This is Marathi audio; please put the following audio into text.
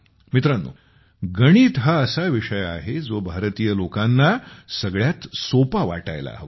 मित्रानो गणित हा असा विषय आहे जो भारतीय लोकांना सगळ्यात सोपा वाटायला हवा